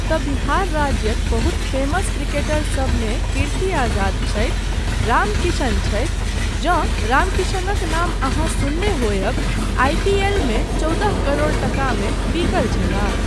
तऽ बिहार राज्यक बहुत फेमस क्रिकेटरसब मे कीर्ति आज़ाद छथि, रामकिशन छथि, जँ रामकिशनक नाम अहाँ सुनने होयब, आई पी एलमे चौदह करोड़ टकामे बिकल छलाह।